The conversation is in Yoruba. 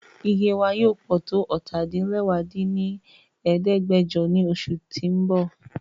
Iye wa yoo pọ to ọ́ta-din-lẹwá dín ní ẹ̀ẹ́dẹ́gbẹ́jọ ni oṣu ti n bọ